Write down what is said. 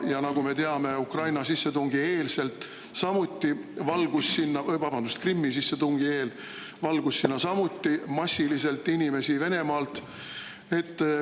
Ja nagu me teame, Krimmi sissetungi eel valgus sinna massiliselt inimesi Venemaalt.